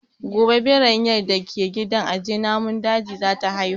Gobe Biranyar da ke gidan aje namun dajin za ta haihu